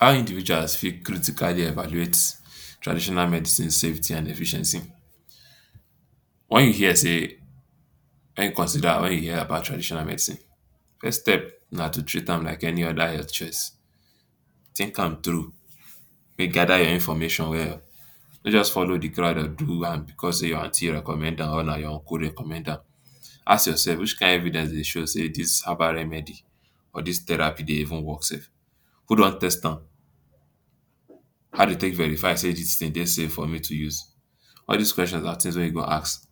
How individuals fit critically evaluate traditional medicine safety and efficiency Wen you hear sey, wen you consider, wen you hear about traditional medicine, first step na to treat am like any other health choice. Think am through, make you gather your information well. No just follow di crowd or do am becos sey your aunty recommend am or na your uncle recommend am. Ask yourself: ‘’Which kind evidence dey show sey dis herbal remedy or dis therapy dey even work sef? Who don test am? How de take verify sey dis tin dey safe for me to use? All dis question na tins wey you go ask.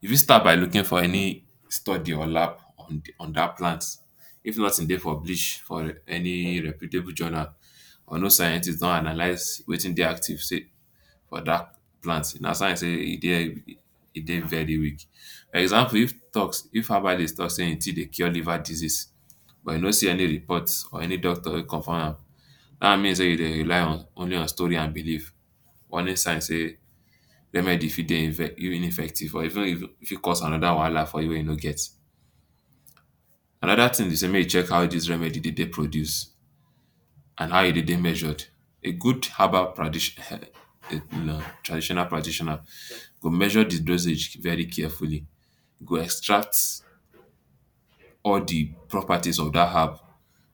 You fit start by looking for any study or lab on dat plant. If nothing dey published for any reputable journal or no scientist don analyse wetin dey active sey dat plant, na sign sey e dey e dey very. For example if tok if herbalist tok sey im tea dey cure liver disease but you no see any report or any doctor wey confirm am, dat one mean sey you dey rely on story and belief. Warning sign sey remedy fit dey effective, e fit cause another wahala for you wey you no get. Another tin be sey make you check how dis remedy de dey produced and how e de dey measured. A good herbal traditional traditional practitioner go measure di dosage very carefully, go extract all di properties of dat herb,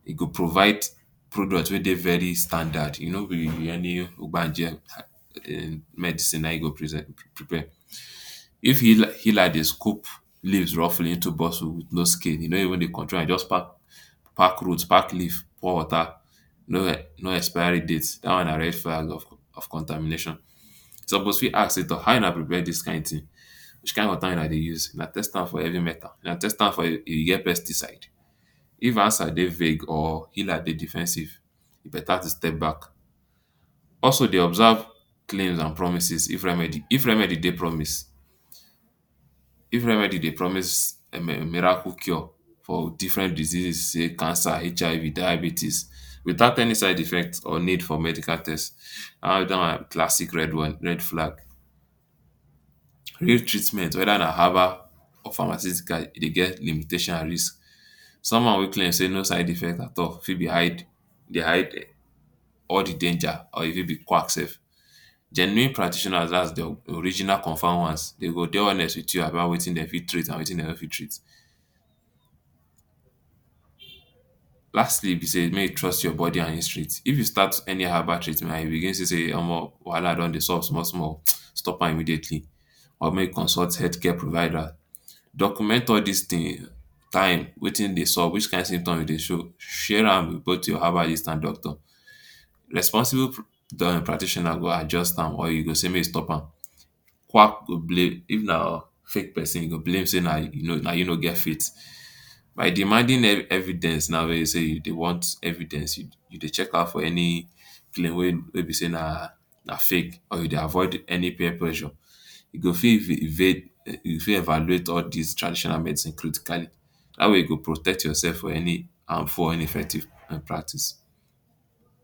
e go provide product wey dey very standard, e no be any ugbanje um medicine na im e go present um prepare. If healer dey scoop leaves roughly into bottle – no skin, e no even dey control am – e just pack pack root, pack leaf, pour water, no expiry date, dat one na red flag. of contamination. You suppose fit ask sey: ‘’Toh, how una prepare dis kind tin? Which kind water una dey use? Una test am for heavy metal? Una test am for e get pesticide? If answer dey vague or healer dey defensive, e beta to step back. Also de observe claim and promises. If remedy if remedy dey promise if remedy dey promise um miracle cure for different diseases say cancer, HIV, diabetes, without any side effect or need for medical test, dat one na classic red red flag. Real treatment, whether na herbal or pharmaceutical, e dey get limitation at least. Someone who claim sey no side effect at all fit be hide, dey hide all di danger or even be quack sef. Genuine practitioners, dat’s di original confirmed ones, dem go dey honest wit you about wetin dem fit treat and wetin dem no fit treat. Lastly be sey make you trust your body and instrit If you start any herbal treatment and you begin see sey, um wahala don dey sup small small, um stop am immediately or make you consult healthcare provider. Document all dis tin – time, wetin dey sup, which kind symptoms you dey show. Share am wit both your herbalist and doctor. Responsible pra-practitioner um go adjust am or e go sey make you stop am. Quack go bla-, if na fake pesin e go blame sey na you no get faith. By demanding e-evidence na be sey you dey want evidence. You dey check out for any claim wey be sey na na fake or you dey avoid any peer pressure. You go fit fi evade you fit evaluate all dis traditional medicine critically how you go protect yourself from any harmful or ineffective malpractice.